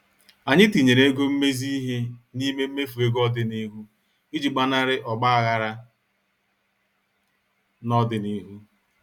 Anyị tinyere ego mmezi ihe n' ime mmefu ego ọdịnihu iji gbanari ogbaghara n' ọdịnihu.